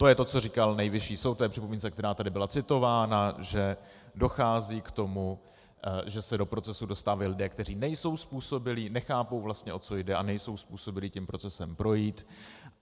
To je to, co říkal Nejvyšší soud k té připomínce, která tady byla citována, že dochází k tomu, že se do procesu dostávají lidé, kteří nejsou způsobilí, nechápou vlastně, o co jde, a nejsou způsobilí tím procesem projít.